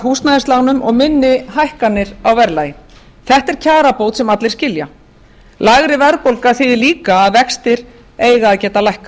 húsnæðislánum og minni hækkanir á verðlagi þetta er kjarabót sem allir skilja lægri verðbólga þýðir líka að vextir eiga að geta lækkað